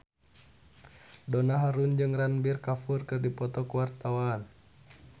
Donna Harun jeung Ranbir Kapoor keur dipoto ku wartawan